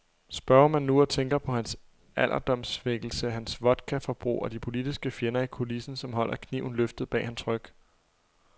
Spørger man nu og tænker på hans alderdomssvækkelse, hans vodkaforbrug og de politiske fjender i kulissen, som holder kniven løftet bag hans ryg.